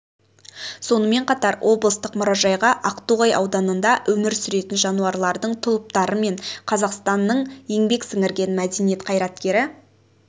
сонымен қатар облыстық мұражайға ақтоғай ауданында өмір сүретін жануарлардың тұлыптары мен қазақстанның еңбек сіңірген мәдениет қайраткері